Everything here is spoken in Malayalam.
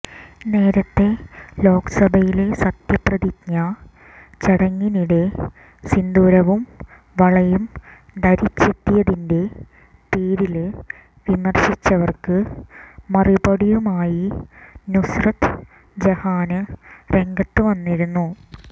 നേരത്തെ ലോക്സഭയിലെ സത്യപ്രതിജ്ഞ ചടങ്ങിനിടെ സിന്ദൂരവും വളയും ധരിച്ചെത്തിയതിന്റെ പേരില് വിമര്ശിച്ചവര്ക്ക് മറുപടിയുമായി നുസ്രത്ത് ജഹാന് രംഗത്ത് വന്നിരുന്നു